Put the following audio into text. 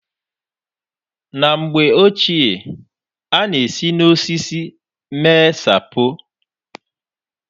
Na mgbe ochie a na-esi n'osisi mee sapo.